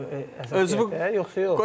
Özümü də yoxsa yox?